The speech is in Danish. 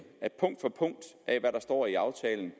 at det der står i aftalen